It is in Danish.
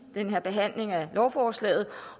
den her behandling af lovforslaget